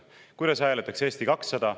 Kuidas hääletaks Eesti 200?